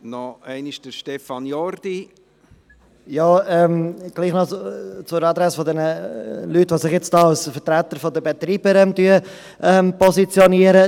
An die Adresse der Leute, die sich jetzt als Vertreter der Betreiber positionieren: